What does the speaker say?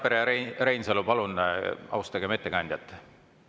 Härrad Randpere ja Reinsalu, palun, austagem ettekandjat!